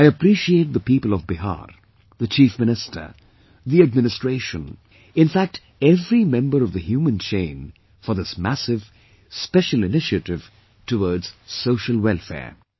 I appreciate the people of Bihar, the Chief Minister, the administration, in fact every member of the human chain for this massive, special initiative towards social welfare